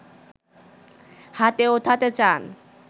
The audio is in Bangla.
হাতে ওঠাতে চান